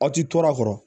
Aw ti to a kɔrɔ